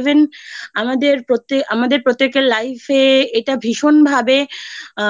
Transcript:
even আমাদের প্রত্যেকের Life এ এটা ভীষণভাবে আ